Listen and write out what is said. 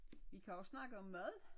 Vi kan også snakke om mad